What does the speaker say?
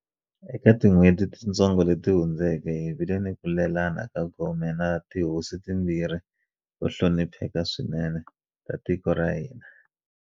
Eka tin'hweti titsongo leti hundzeke, hi vile ni ku lelana ka gome na tihosi timbirhi to hlonipheka swinene ta tiko ra hina.